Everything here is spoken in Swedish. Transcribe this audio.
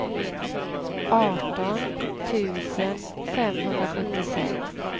arton tusen femhundrasjuttiosex